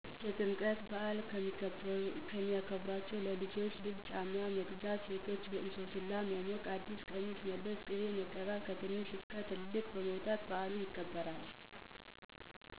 የጥምቀት በዐል። የሚከበረውም_ለልጆች ልብስ ;ጫማ; በመግዛት; ሴቶች እንሶስላ በመሞቅ ;አዲስ ቀሚስ በመልበስ ;ቅቤ በመቀባት ;ከትንሽ እስከ ትልቅ በመውጣት ;በዐሉ ይከበራል።